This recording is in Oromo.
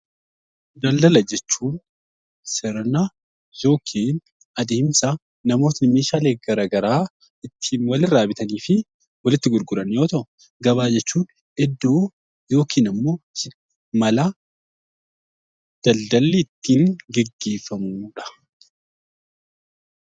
Daldala jechuun sirna yookiin adeemsa namoonni meeshaalee gara garaa ittiin walirraa bitanii fi walitti gurguran yoo ta'u, gabaa jechuun iddoo yookiin ammoo mala daldalli ittiin gaggeeffamudha.